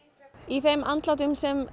í þeim andlátum sem